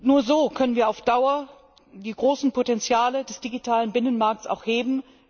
Nur so können wir auf Dauer die großen Potenziale des digitalen Binnenmarkts auch heben.